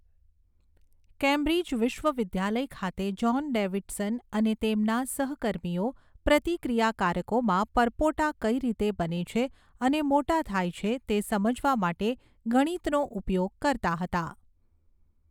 Cambridge વિશ્વવિદ્યાલય ખાતે John Davidson અને તેમના સહકર્મીઓ પ્રતિક્રિયાકારકોમાં પરપોટા કઈ રીતે બને છે અને મોટા થાય છે તે સમજવા માટે ગણિતનો ઉપયોગ કરતા હતા.